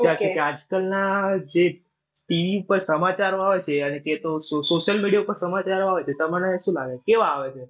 આજ કાલના જે TV પર સમાચારો આવે છે અને તે તો social media પર સમાચારો આવે છે તમને શું લાગે છે? કેવા આવે છે?